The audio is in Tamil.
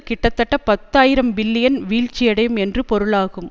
கிட்டத்தட்ட பத்து ஆயிரம் பில்லியன் வீழ்ச்சி அடையும் என்று பொருளாகும்